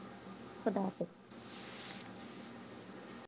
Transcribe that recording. খুদা হাফিজ